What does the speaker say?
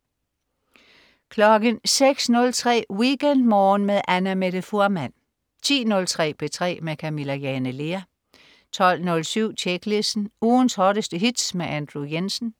06.03 WeekendMorgen med Annamette Fuhrmann 10.03 P3 med Camilla Jane Lea 12.07 Tjeklisten. Ugens hotteste hits med Andrew Jensen